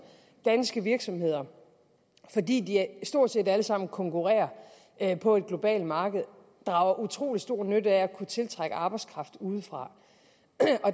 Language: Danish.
danske virksomheder fordi de stort set alle sammen konkurrerer på et globalt marked drager utrolig stor nytte af at kunne tiltrække arbejdskraft udefra